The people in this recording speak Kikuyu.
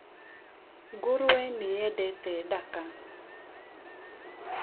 Ngũrwe nĩ yedete daka.